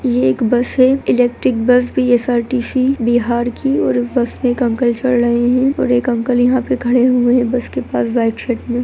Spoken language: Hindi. ये एक बस है इलेक्ट्रिक बस बी.एस.आर.टी.सी. बिहार की और बस में एक अंकल चढ़ रहें हैं और एक अंकल यहाँ पे पर खड़े हुए हैं बस के पास बैठ रहें हैं।